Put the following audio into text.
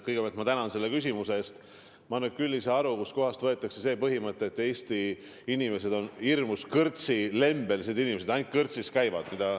Kõigepealt ma tänan selle küsimuse eest, aga ma küll ei saa aru, kust kohast võetakse see mõte, et Eesti inimesed on hirmus kõrtsilembesed, ainult kõrtsis käivad.